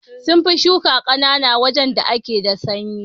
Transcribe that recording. Munfi Shuka kankana a wajan da yake da sanyi